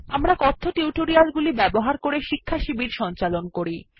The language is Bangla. আমরা কথ্য টিউটোরিয়াল গুলি ব্যবহার করে শিক্ষাশিবির সঞ্চালন করি